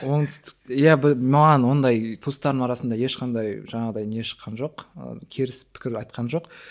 оңтүстік иә бір маған ондай туыстарымның арасында ешқандай жаңағыдай не шыққан жоқ ы теріс пікір айтқан жоқ